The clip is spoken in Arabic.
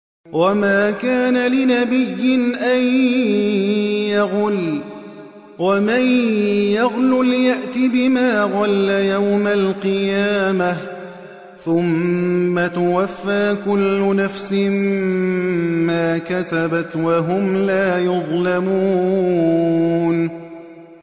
وَمَا كَانَ لِنَبِيٍّ أَن يَغُلَّ ۚ وَمَن يَغْلُلْ يَأْتِ بِمَا غَلَّ يَوْمَ الْقِيَامَةِ ۚ ثُمَّ تُوَفَّىٰ كُلُّ نَفْسٍ مَّا كَسَبَتْ وَهُمْ لَا يُظْلَمُونَ